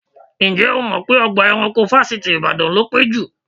Ǹjẹ́ o mọ̀ pé ọgbà ẹranko Fáṣítì Ìbàdàn ló pé jù?